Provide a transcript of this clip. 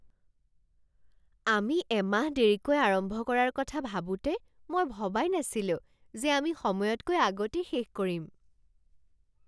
আমি এমাহ দেৰিকৈ আৰম্ভ কৰাৰ কথা ভাবোঁতে মই ভবাই নাছিলোঁ যে আমি সময়তকৈ আগতেই শেষ কৰিম।